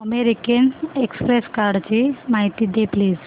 American Express कार्डची माहिती दे प्लीज